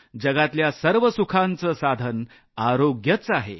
जगातल्या सर्व सुखांचं साधन आरोग्यच आहे